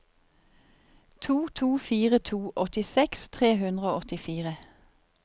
to to fire to åttiseks tre hundre og åttifire